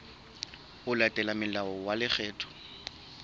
ho latela molao wa lekgetho